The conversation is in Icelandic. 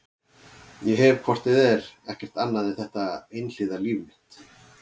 Ég hef hvort eð er ekkert annað en þetta einhliða líf mitt.